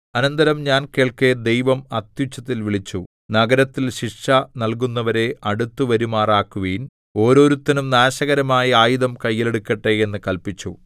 അനന്തരം ഞാൻ കേൾക്കെ ദൈവം അത്യുച്ചത്തിൽ വിളിച്ചു നഗരത്തിൽ ശിക്ഷ നൽകുന്നവരെ അടുത്തു വരുമാറാക്കുവിൻ ഓരോരുത്തനും നാശകരമായ ആയുധം കയ്യിൽ എടുക്കട്ടെ എന്ന് കല്പിച്ചു